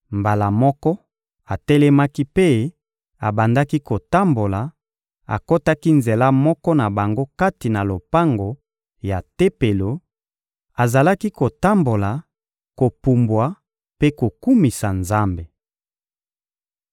Mbala moko, atelemaki mpe abandaki kotambola, akotaki nzela moko na bango kati na lopango ya Tempelo: azalaki kotambola, kopumbwa mpe kokumisa Nzambe.